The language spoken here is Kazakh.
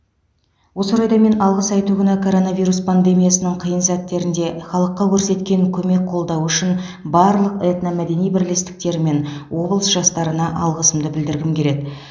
осы орайда мен алғыс айту күні коронавирус пандемиясының қиын сәттерінде халыққа көрсеткен көмек қолдауы үшін барлық этномәдени бірлестіктер мен облыс жастарына алғысымды білдіргім келеді